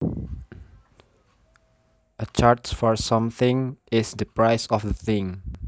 A charge for something is the price of the thing